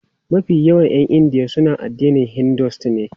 Mafi yawan 'yan India suna addinin Hinduism ne.